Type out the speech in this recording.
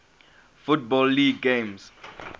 football league games